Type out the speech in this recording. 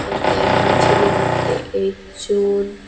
ek dagi maas hinibattay esson.